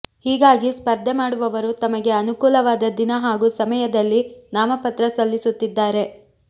ಹೀಗಾಗಿ ಸ್ಪರ್ಧೆ ಮಾಡುವವರು ತಮಗೆ ಅನುಕೂಲವಾದ ದಿನ ಹಾಗೂ ಸಮಯದಲ್ಲಿ ನಾಮಪತ್ರ ಸಲ್ಲಿಸುತ್ತಿದ್ದಾರೆ